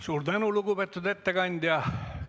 Suur tänu, lugupeetud ettekandja!